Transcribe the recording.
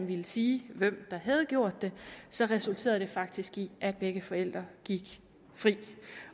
ville sige hvem der havde gjort det så resulterede det faktisk i at begge forældrene gik fri